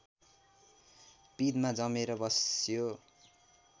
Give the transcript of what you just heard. पिँधमा जमेर बस्यो